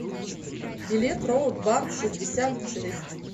билет роут бар шестьдесят шесть